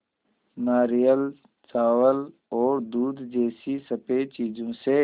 नारियल चावल और दूध जैसी स़फेद चीज़ों से